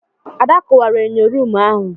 Ada kuwara enyo ruumu ahu.